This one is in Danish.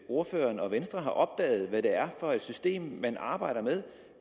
ordføreren og venstre har opdaget hvad det er for et system man arbejder med